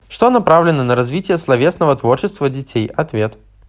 что направлено на развитие словесного творчества детей ответ